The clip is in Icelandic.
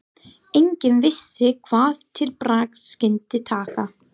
Enginn vissi hvað til bragðs skyldi taka.